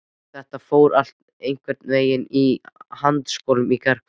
Það fór allt einhvern veginn í handaskolum í gærkvöldi.